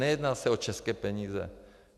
Nejedná se o české peníze.